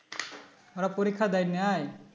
তারা পরীক্ষা দেয় নাই